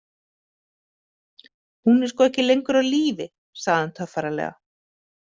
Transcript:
Hún er sko ekki lengur á lífi, sagði hann töffaralega.